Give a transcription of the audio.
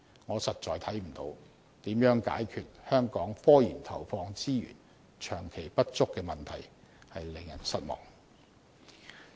我實在看不到如何能解決香港科研投放資源長期不足的問題，令人失望。